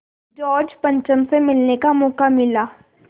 George पंचम से मिलने का मौक़ा मिला